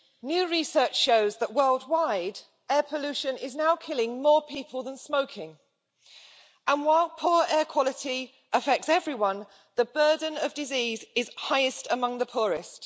New research shows that worldwide, air pollution is now killing more people than smoking, and while poor air quality affects everyone, the burden of disease is highest among the poorest.